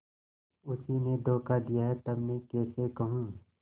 उसी ने धोखा दिया तब मैं कैसे कहूँ